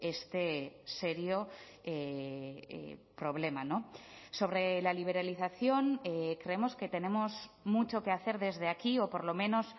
este serio problema sobre la liberalización creemos que tenemos mucho que hacer desde aquí o por lo menos